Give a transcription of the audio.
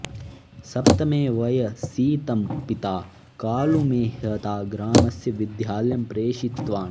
सप्तमे वयसि तं पिता कालूमेह्ता ग्रामस्य विद्यालयं प्रेषितवान्